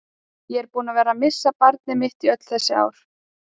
Ég er búinn að vera missa barnið mitt í öll þessi ár.